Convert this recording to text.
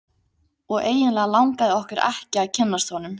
Og eiginlega langaði okkur ekki að kynnast honum.